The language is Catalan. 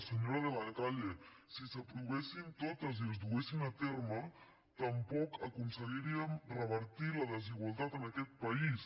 senyora de la calle si s’aprovessin totes i es duguessin a terme tampoc aconseguiríem revertir la desigualtat en aquest país